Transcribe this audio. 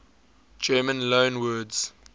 german loanwords